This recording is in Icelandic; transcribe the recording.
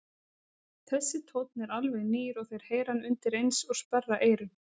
Þessi tónn er alveg nýr og þeir heyra hann undireins og sperra eyrun.